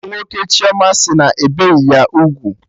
Enyi nwoke Chioma sị na-ebeghị ya ugwu